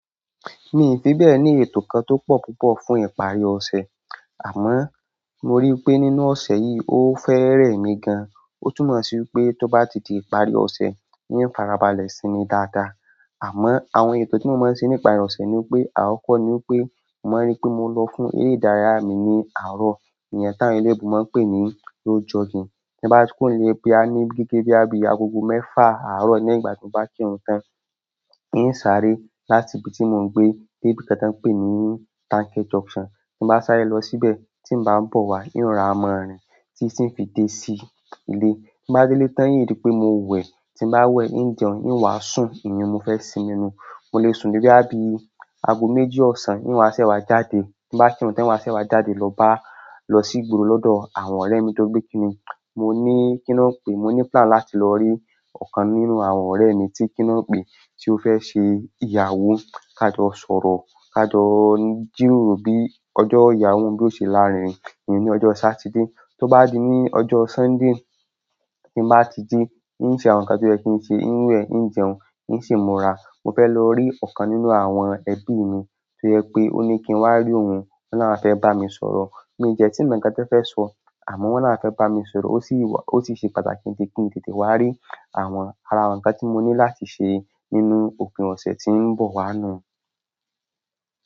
Mi o fi bẹ ẹ ní ètò kan tó pọ̀ púpọ̀ fún ìparí ọ̀sẹ̀. Àmọ́ mo ríi pé nínú ọ̀sẹ̀ yìí ó fẹ́ remi gan. Ó túnmọ̀ sí wípé tó bá ti di ìparí ọ̀sẹ̀, mi farabalẹ̀ sínmi dáadáa. Àmọ́ àwọn ètò tí mo máa ń ṣe níparì ọ̀sẹ́ ni wípé àkọ́kọ́ ni wípé mo máa ń ríi pé mo lọ fún eré ìdárayá mi ní àárọ̀. Ìyẹn tá ń eleyinbo máa ń pè ní go jogging. Tí n bá kúrò nle boya ní gígé bíi agogo mẹ́fà àárọ̀ lẹ́yìn ìgbà tí mo bá kírun tán, mi ń sáré láti ibi tí mo ń gbé dé ibi kan tí wón ń pè ní Tanke Junction. Tí n bá sáré lọ síbẹ̀ tí mo bá ń bọ̀ wá, oun o rora màa rin títì ń fi dé sí ilé. Tí n bá délé tán n ri pé mo wẹ̀, tí n bá wẹ̀, ń jẹun, ń wá sùn, ìyẹn mo fẹ́ sinmi nú. Mo lè sùn dé boya bi agoméjì ọ̀sán, ń wá sése wá jáde. Tí n bá kírun tán, n wá sése wá jáde lọ bá, lọ sí ìgboro lọ́dọ̀ àwọn ọ̀rẹ́ mi tóri pé kiní. Mo ní kí ni won n pè, mo ní plan láti lọ rí ọ̀kan nínú àwọn ọ̀rẹ́ mi tí kí wóń n pè tí ó fẹ́ ṣe ìyàwó ká jọ sọ̀rọ̀, ká jọ jìroro bí ọjọ́ ìyàwó un bí yó ṣe láárinrín. Iyen ni ojo Sátidé. Tó bá di ní ọjọ́ Sunday tí n bá ti jí, ń ṣe àwọn nǹkan tí ó yẹ kí n ṣe, ń wẹ̀, ń jẹun, ń sì múra, mo fẹ́ lọ rí ọ̀kan nínú àwọn ẹbí mi tí ó jẹ pé ó ní kí n wá rí òun. Won ni àwọn fe bami sọ̀rọ̀, mii de ti mo nkan ti won fe so. Àmọ́ wọ́n ni àwọn fẹ́ bá mi sọ̀rọ̀. Ó sì wà, ó sì ṣe pàtàkì nítorí ki n tètè wá rí àwọn, ara àwọn ǹkan tí mo ní láti ṣe nínú òpin ọ̀sẹ̀ tí ń bọ̀ wá nu.